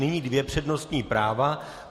Nyní dvě přednostní práva.